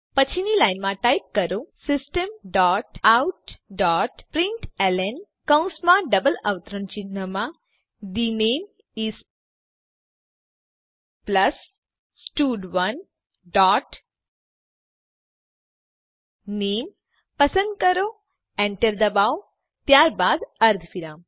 પછીની લાઈનમાં ટાઈપ કરો system dot out dot println કૌંસમાં ડબલ અવતરણ ચિહ્નમાં the name is plus stud one dot name પસંદ કરો એન્ટર દબાવો ત્યારબાદ અર્ધવિરામ